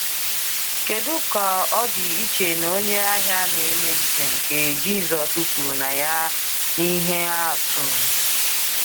Kedu ka ọ dị iche na onye ahịa na-eme njem nke Jisus kwuru na ya n’ihe atụ!